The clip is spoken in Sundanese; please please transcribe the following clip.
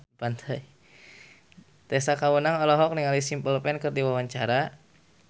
Tessa Kaunang olohok ningali Simple Plan keur diwawancara